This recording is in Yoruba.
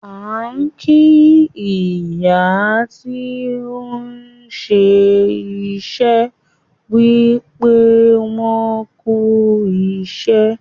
A kì ìyá tí òun ṣé iṣẹ́ wípé wọn "kú ìṣẹ́".